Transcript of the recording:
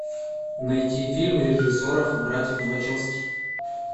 найти фильм режиссеров братьев вачовски